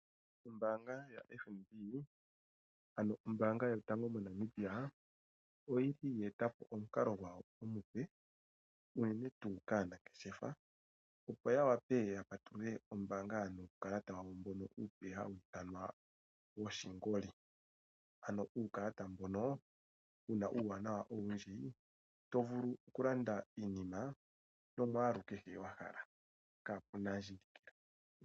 Obaanga yotango yopashigwana (FNB) oya nduluka po omukalo omupe, unene tuu kaanangeshefa opo ya money uukalata woshingoli. Uukalata ohawu gandja uuwanawa mboka kutya omuntu ota vulu okalanda iipumbiwa ye yomwaalu kehe pwaana oondjindikila.